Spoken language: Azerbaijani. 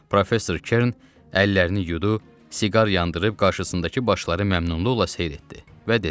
Professor Kern əllərini yudu, siqar yandırıb qarşısındakı başları məmnunluqla seyr etdi və dedi: